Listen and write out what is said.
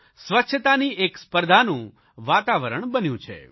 સ્વચ્છતાની એક સ્પર્ધાનું વાતાવરણ બન્યું છે